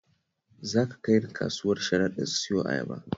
Za ka kai ni kasuwar Sharaɗa in siyo ayaba?